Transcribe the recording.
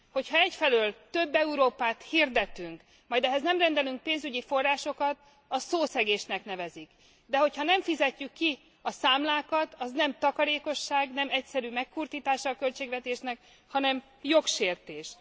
Hogyha egyfelől több Európát hirdetünk, majd ehhez nem rendelünk pénzügyi forrásokat, azt szószegésnek nevezik, de hogyha nem fizetjük ki a számlákat, az nem takarékosság, nem egyszerű megkurtítása a költségvetésnek, hanem jogsértés.